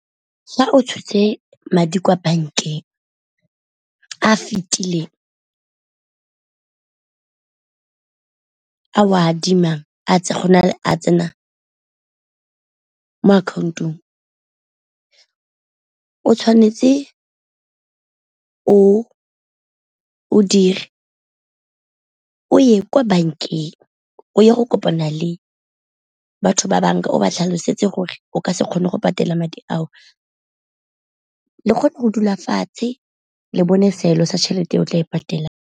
Fa o tshotse madi kwa bankeng a fitileng a o adimang go na le a tsenang mo akhaontong, o tshwanetse o dire o ye kwa bankeng o ye go kopana le batho ba banka o ba tlhalosetse gore o ka se kgone go patela madi a o, le kgone go dula fatshe le bone seelo sa tšhelete o tla e patelang.